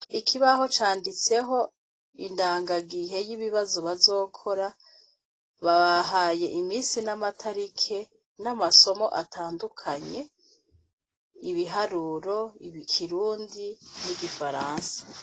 Ikibaho canditseho indangagihe y' ibibazo bazokora babahaye imisi n' amatariki n' amasomo atandukanye ibiharuro, ikirundi n' igifaransa.